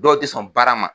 Dɔw tɛ sɔn baara ma